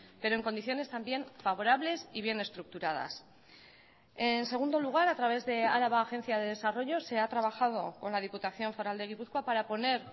pero en condiciones también favorables y bien estructuradas en segundo lugar a través de araba agencia de desarrollo se ha trabajado con la diputación foral de gipuzkoa para poner